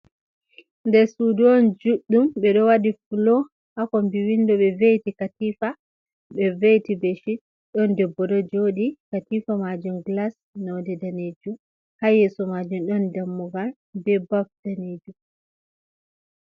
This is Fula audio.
Der sudu on juddum be do wadi flo hakon biwindo be veiti katifa be veiti beshi don debbodo jodi katifa majum glas noude daneju ha yeso majum don dammugal be baf daneju